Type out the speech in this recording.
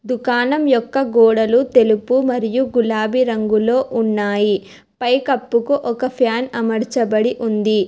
దుకాణం యొక్క గోడలు తెలుపు మరియు గులాబీ రంగులో ఉన్నాయి పై కప్పుకు ఒక ఫ్యాన్ అమర్చబడి ఉంది